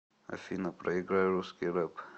афина проиграй русский рэп